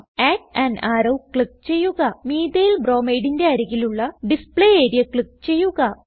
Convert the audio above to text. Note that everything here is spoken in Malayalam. അഡ് അൻ അറോ ക്ലിക്ക് ചെയ്യുക Methylbromideന്റെ അരികിലുള്ള ഡിസ്പ്ലേ ആരിയ ക്ലിക്ക് ചെയ്യുക